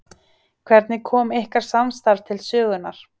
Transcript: Hvernig kom ykkar samstarf til sögunnar?